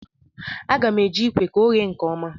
A ga-m eji ikwe ka o ghee nkeọma